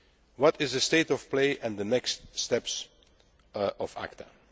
What is the state of play and the next steps in